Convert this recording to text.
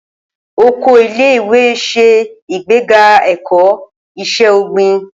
Oko ilé ìwé se ìgbéga eko Ise ogbin